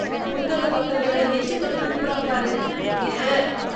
புத்தக பக்கங்கள எச்சத் தொட்டு திருப்புறான் பாரு, அய்யே.